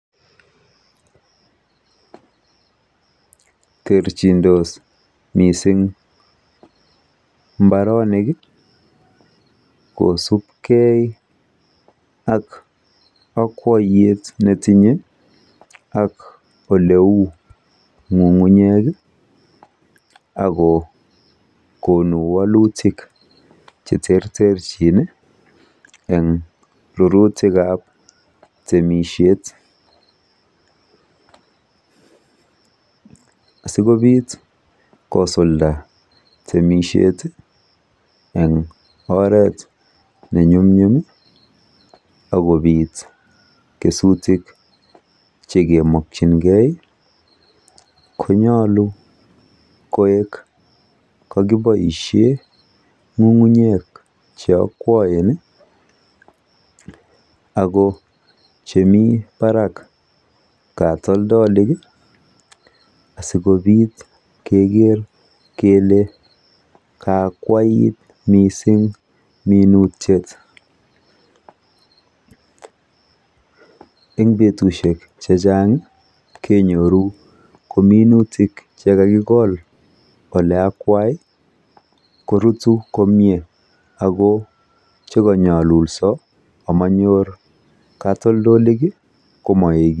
Terchindos mising mbaronik kosupkee ak okwoiyet netinye ak ole uu nyung'unyeki ak kokonu wolutik cheterterchini en rurutikab temishet sikopit kosulda temishet en oret nenyumnyum akopit kesutik chekemokyinkee konyolu koek kokiboishen nyung'unyek cheokwoen ako Chemi Barak katoldoiki asikopit keker kele kaakwait mising minutiet en betushek chechang kenyorunkominutik chekakikol oleakwaibkorutu komie Ako chekanyolulso amonyor katoldoliki